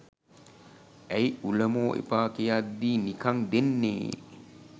ඇයි උලමෝ එපා කියද්දී නිකං දෙන්නේ